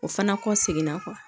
O fana kɔ seginna